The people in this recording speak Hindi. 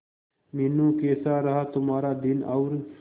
मीनू कैसा रहा तुम्हारा दिन और